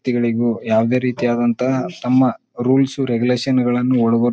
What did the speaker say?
ತಿಗಳಿಗೂ ಯಾವದೇ ರೀತಿಯಾದಂತಹ ತಮ್ಮ ರೂಲ್ಸು ರೇಗುಲೇಷನ್ಗಳನ್ನೂ ಒಳಗು --